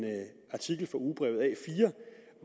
artikel fra ugebrevet a4